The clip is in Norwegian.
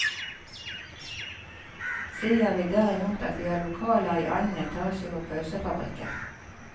Sier vi derimot at vi har lokaler i annen etasje på pølsefabrikken.